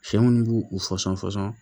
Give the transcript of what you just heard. Sɛ munnu b'u u fɔsɔn fɔsɔn